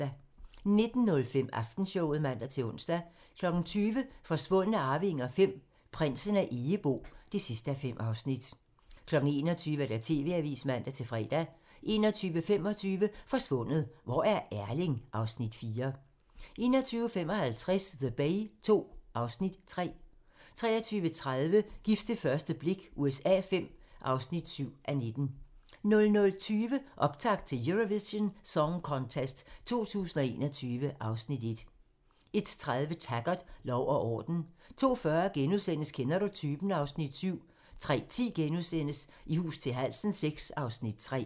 19:05: Aftenshowet (man-ons) 20:00: Forsvundne arvinger V: Prinsen af Egebo (5:5) 21:00: TV-avisen (man-fre) 21:25: Forsvundet - hvor er Erling? (Afs. 4) 21:55: The Bay II (Afs. 3) 23:30: Gift ved første blik USA V (7:19) 00:20: Optakt til Eurovision Song Contest 2021 (Afs. 1) 01:30: Taggart: Lov og orden 02:40: Kender du typen? (Afs. 7)* 03:10: I hus til halsen VI (Afs. 3)*